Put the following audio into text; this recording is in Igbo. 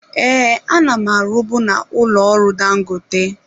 Ee, ana m arubu na ụlọ ọrụ Dangote.